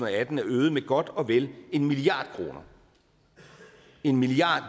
atten er øget med godt og vel en milliard kroner en milliard